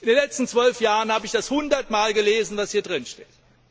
In den letzten zwölf Jahren habe ich hundertmal gelesen, was hier drinsteht.